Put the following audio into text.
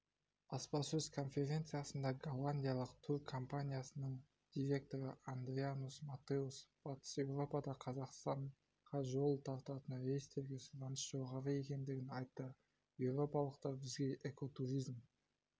баспасөз конференциясында голландиялық тур компаниясының директоры адрианус матеус батыс еуропада қазақстанға жол тартатын рейстерге сұраныс жоғары екендігін айтты еуропалықтар бізге экотуризм